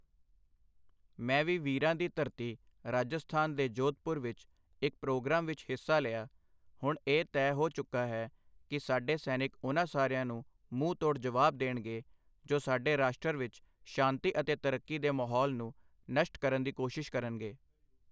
ਮੈਂ ਵੀ ਵੀਰਾਂ ਦੀ ਧਰਤੀ ਰਾਜਸਥਾਨ ਦੇ ਜੋਧਪੁਰ ਵਿੱਚ ਇੱਕ ਪ੍ਰੋਗਰਾਮ ਵਿੱਚ ਹਿੱਸਾ ਲਿਆ, ਹੁਣ ਇਹ ਤੈਅ ਹੋ ਚੁੱਕਾ ਹੈ ਕਿ ਸਾਡੇ ਸੈਨਿਕ ਉਨ੍ਹਾਂ ਸਾਰਿਆਂ ਨੂੰ ਮੂੰਹ ਤੋੜ ਜਵਾਬ ਦੇਣਗੇ ਜੋ ਸਾਡੇ ਰਾਸ਼ਟਰ ਵਿੱਚ ਸ਼ਾਂਤੀ ਅਤੇ ਤਰੱਕੀ ਦੇ ਮਾਹੌਲ ਨੂੰ ਨਸ਼ਟ ਕਰਨ ਦੀ ਕੋਸ਼ਿਸ਼ ਕਰਨਗੇ।